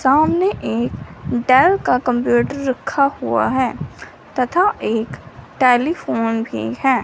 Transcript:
सामने एक डेल का कंप्यूटर रखा हुआ है तथा एक टेलीफोन भी है।